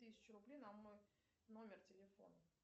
тысячу рублей на мой номер телефона